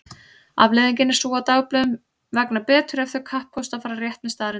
Afleiðingin er sú að dagblöðum vegnar betur ef þau kappkosta að fara rétt með staðreyndir.